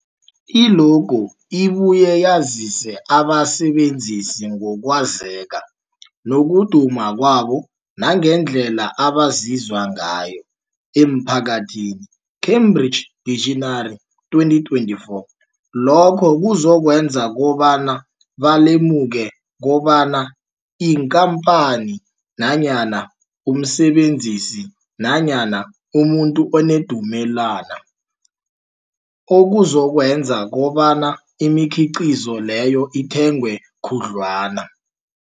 I-logo ibuye yazise abasebenzisi ngokwazeka nokuduma kwabo nangendlela abaziwa ngayo emphakathini, Cambridge Dictionary, 2024. Lokho kuzokwenza kobana balemuke kobana yikhamphani nanyana umsebenzi nanyana umuntu onendumela, okuzokwenza kobana imikhiqhizo leyo ithengwe khudlwana.